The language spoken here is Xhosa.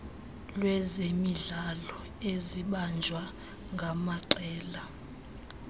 lwezemidlalo ezibanjwa ngamaqela